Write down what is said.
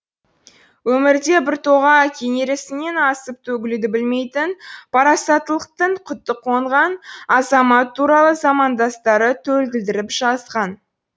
өмірде біртоға кенересінен асып төгілуді білмейтін парасаттылықтың құты қонған азамат туралы замандастары төлгілдіріп жазған